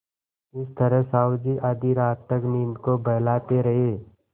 इस तरह साहु जी आधी रात तक नींद को बहलाते रहे